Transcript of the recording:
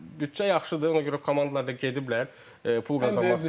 Büdcə yaxşıdır, ona görə komandalar da gediblər, pul qazanmaq istəyirlər.